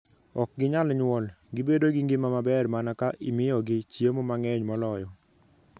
ok ginyal nyuol. Gibedo gi ngima maber mana ka imiyogi chiemo mang'eny moloyo.